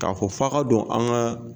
K'a fɔ f'a ka don an ka